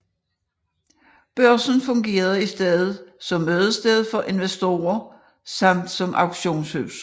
Børsen fungerede i stedet som mødested for investorer samt som auktionshus